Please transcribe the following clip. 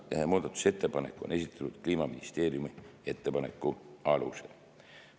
Muudatusettepanek on esitatud Kliimaministeeriumi ettepaneku alusel.